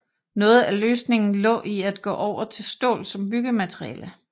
Noget af løsningen lå i at gå over til stål som byggemateriale